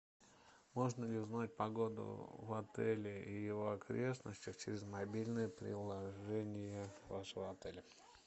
можно ли узнать погоду в отеле и его окрестностях через мобильное приложение вашего отеля